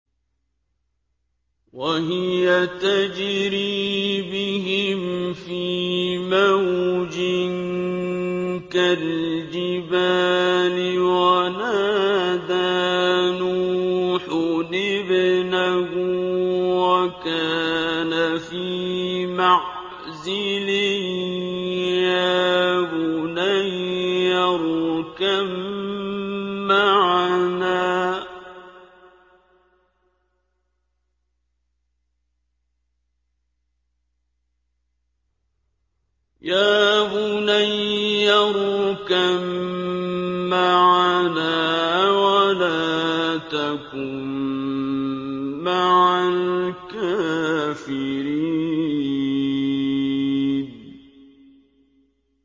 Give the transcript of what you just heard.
وَهِيَ تَجْرِي بِهِمْ فِي مَوْجٍ كَالْجِبَالِ وَنَادَىٰ نُوحٌ ابْنَهُ وَكَانَ فِي مَعْزِلٍ يَا بُنَيَّ ارْكَب مَّعَنَا وَلَا تَكُن مَّعَ الْكَافِرِينَ